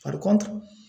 Farikɔnɔ